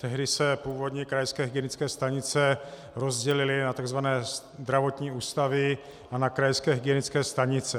Tehdy se původní krajské hygienické stanice rozdělily na tzv. zdravotní ústavy a na krajské hygienické stanice.